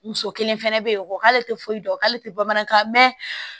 Muso kelen fɛnɛ be yen o k'ale te foyi dɔn k'ale te bamanankan mɛ